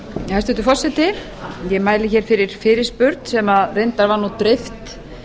hæstvirtur forseti ég mæli hér fyrir fyrirspurn sem reyndar var nú dreift